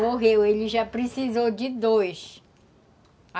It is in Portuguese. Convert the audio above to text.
Morreu, ele já precisou de dois.